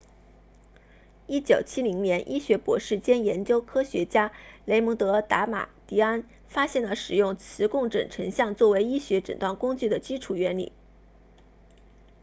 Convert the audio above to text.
1970年医学博士兼研究科学家雷蒙德达马迪安 raymond damadian 发现了使用磁共振成像作为医学诊断工具的基础原理